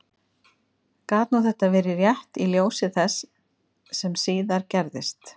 Gat nú þetta verið rétt í ljósi þess sem síðar gerðist?